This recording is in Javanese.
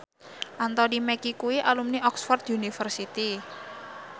Anthony Mackie kuwi alumni Oxford university